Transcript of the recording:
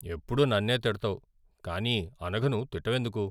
ఎప్పుడూ నన్నే తిడతావు కానీ అనఘను తిట్టవెందుకు?